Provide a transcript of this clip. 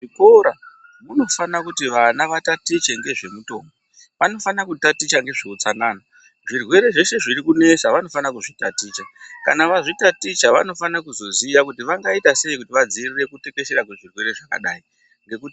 Kuzvikora kunofana kuti vana vatatiche nezvemitombo kunofana kutaticha nezvei hutsanana zvirwere zveshe zviri kunesa vanofana kuzvitaticha kana vazvitaticha vanofana kuzoziya kuti vangaita sei kudzivirira zvirwere zvakadai.